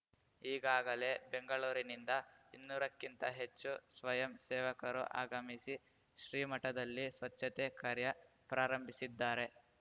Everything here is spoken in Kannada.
ಈಗಾಗಲೇ ಬೆಂಗಳೂರಿನಿಂದ ಇನ್ನೂರ ಕ್ಕಿಂತ ಹೆಚ್ಚು ಸ್ವಯಂ ಸೇವಕರು ಆಗಮಿಸಿ ಶ್ರೀಮಠದಲ್ಲಿ ಸ್ವಚ್ಛತೆ ಕಾರ್ಯ ಪ್ರಾರಂಭಿಸಿದ್ದಾರೆ